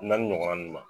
Naani ɲɔgɔnna